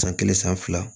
San kelen san fila